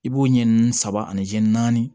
I b'o ɲɛ nin saba ani jɛ naani